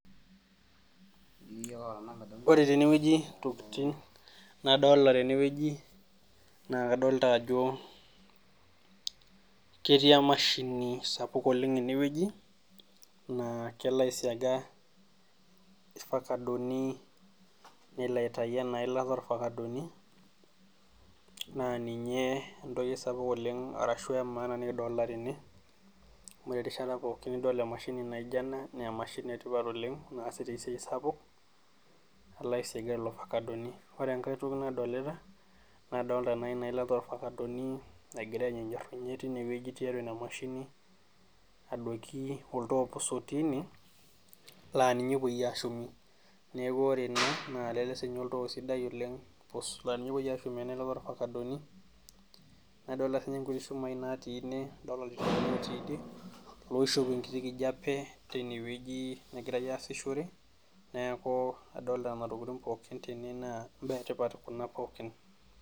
Ore tenewueji intokitin nadolita tene wueji naa kadolita ajo ketii emashini sapuk oleng ene wueji naa kelo aisiaga irfakadoni nelo aitayu ena ilata orfakadoni naa ninye entoki sapuk oleng ashua entoki emaana nikidolita tene amu ore erishata pookin nidol emashini naijio ena naa emashini etipat oleng naasita esiai sapuk nalo aisiaga lelo afakadoni ore enkae toki nadolita nadolita naa ina ilata oorfakadoni nagira aijijirunye tine wueji tiatua ina mashini adoiki oltoo pus otiii ine laa ninye epuoi aashumie neeku ore ina naa lele siininye oltoo sidai nadolita sii ninye ilchumai oishopu lenkijape tenewueji negirai aasishore neeku adolita kuna tokitin tene naa enetipat kuna tokitin.